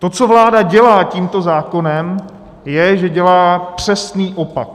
To, co vláda dělá tímto zákonem, je, že dělá přesný opak.